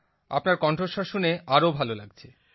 আপনার কণ্ঠস্বর শুনে আরো ভালো লাগছে